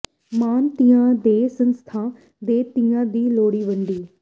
ਮਾਣ ਧੀਆਂ ਤੇ ਸੰਸਥਾਂ ਨੇ ਧੀਆਂ ਦੀ ਲੋਹੜੀ ਵੰਡੀ